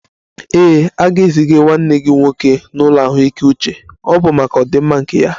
Ee, a ga-eziga nwanne gị nwoke n'ụlọ ahụike uche, ọ bụ maka ọdịmma nke ya